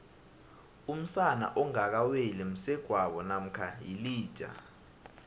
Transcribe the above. umsana ongaka weli msegwabo mamkha yilija